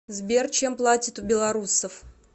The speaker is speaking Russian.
сбер чем платят у белорусов